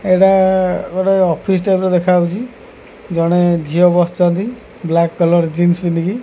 ଏଇଟା ଗୋଟେ office type ର ଦେଖାହୋଉଚି ଜଣେ ଝିଅ ବସିଚନ୍ତି ବ୍ଲାକ କଲର୍ ର ଜିନ୍ସ ପିନ୍ଧିକି।